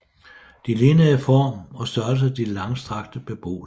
De lignede i form og størrelse de langstrakte beboelseshuse